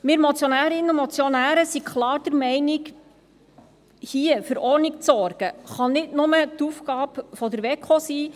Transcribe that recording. Wir Motionärinnen und Motionäre sind klar der Meinung, hier für Ordnung zu sorgen, könne nicht nur die Aufgabe der WEKO sein.